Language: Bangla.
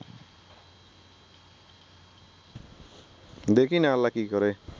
দেখি না আল্লাহ কি করে